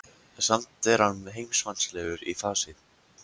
Samt er hann heimsmannslegur í fasi.